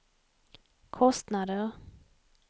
kostnader